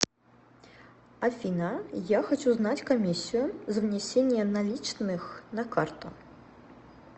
афина я хочу знать комиссию за внесение наличных на карту